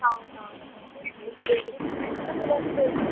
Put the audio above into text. ಹೌದೌದು ಬೆಳಿಗ್ಗೆ ಕೂಡ ಅಷ್ಟೆ